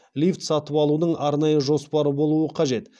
лифт сатып алудың арнайы жоспары болуы қажет